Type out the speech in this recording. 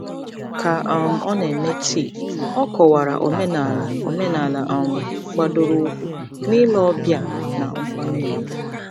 Ka um ọ na-eme tii, ọ kọwara omenala omenala um gbadoroụkwụ n'ile ọbịa na nkwanye ùgwù.